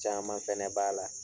Caaman fɛnɛ b'a la